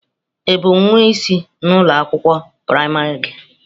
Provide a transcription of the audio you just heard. Ị bụ nwa isi na ụlọ akwụkwọ praịmarị gị?